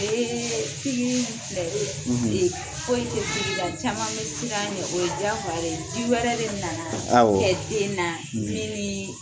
Ee pigiri filɛ e foyi tɛ pigiri la caman bɛ siran ɲɛ o ye diyagoya ye ji wɛrɛ de nana awɔ kɛ den na mi nii